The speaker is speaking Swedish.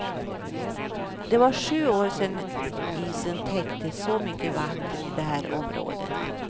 Det var sju år sedan isen täckte så mycket vatten i det här området.